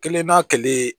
Kelen n'a kelen